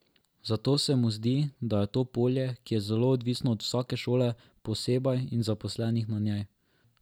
Zato se mu zdi, da je to polje, ki je zelo odvisno od vsake šole posebej in zaposlenih na njej.